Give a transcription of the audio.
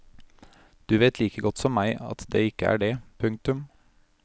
Du vet like godt som meg at det ikke er det. punktum